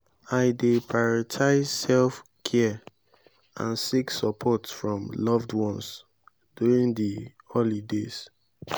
i dey prioritize self-care and seek support from loved ones during di holidays.